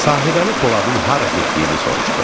Sahibəli Poladın hara getdiyini soruşdu.